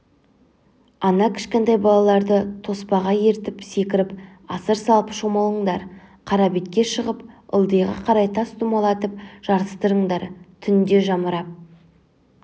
ана кішкентай балаларды тоспаға ертіп секіріп асыр салып шомылындар қарабетке шығып ылдиға қарай тас домалатып жарыстырыңдар түнде жамырап